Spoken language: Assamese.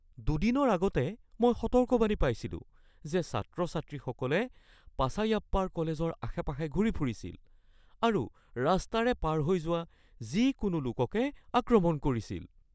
দুদিনৰ আগতে মই সতৰ্কবাণী পাইছিলোঁ যে ছাত্ৰ-ছাত্ৰীসকলে পাচাইয়াপ্পাৰ কলেজৰ আশে-পাশে ঘূৰি ফুৰিছিল আৰু ৰাস্তাৰে পাৰ হৈ যোৱা যিকোনো লোককে আক্ৰমণ কৰিছিল।